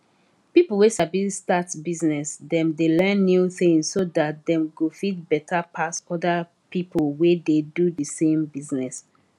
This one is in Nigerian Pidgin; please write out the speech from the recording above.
people wey sabi start business dem dey learn new things so dat dem go fit better pass other people wey dey do de same business